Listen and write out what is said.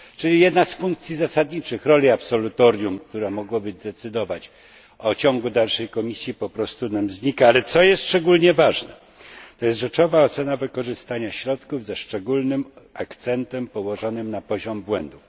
Czyli jedna z zasadniczych funkcji absolutorium, która mogłaby decydować o ciągu dalszym Komisji po prostu nam znika. Ale szczególnie ważna jest rzeczowa ocena wykorzystania środków ze szczególnym akcentem położonym na poziom błędów.